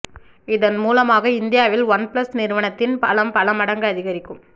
இதன் மூலமாக இந்தியாவில் ஒன்ப்ளஸ் நிறுவனத்தின் பலம் பல மடங்கு அதிகரிக்கும்